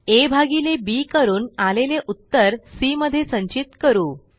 आ भागिले बी करून आलेले उत्तर सी मध्ये संचित करू